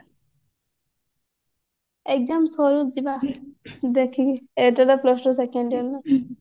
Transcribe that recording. exam ସରୁ ଯିବା ଦେଖି ଏଟା ତ plus two second year ନା